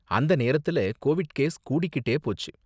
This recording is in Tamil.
அந்த நேரத்துல கோவிட் கேஸ் கூடிக்கிட்டே போச்சு.